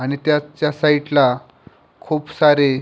आणि त्याच्या साईडला खूप सारे--